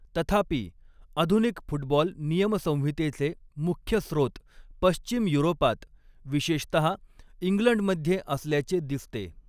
तथापि, आधुनिक फुटबॉल नियमसंहितेचे मुख्य स्रोत पश्चिम युरोपात, विशेषतः इंग्लंडमध्ये असल्याचे दिसते.